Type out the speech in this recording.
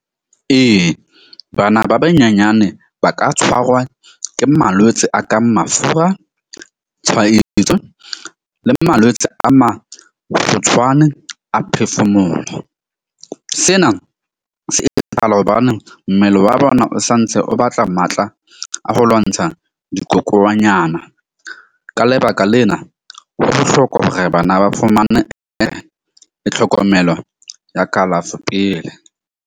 Ee, bana ba banyenyane ba ka tshwarwa ke malwetse a kang mafura, tshwaetso le malwetse a mang kgutshwane a phefumoho. Sena se etsahala hobane mmele wa bona o santse o batla matla a ho lwantsha dikokonyana. Ka lebaka lena, ho bohlokwa hore bana ba fumane tlhokomelo ya kalafo pele.